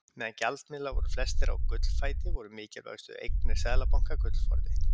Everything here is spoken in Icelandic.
Meðan gjaldmiðlar voru flestir á gullfæti voru mikilvægustu eignir seðlabanka gullforði.